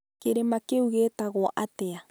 Kĩrĩma kĩu gĩtagwo atĩa?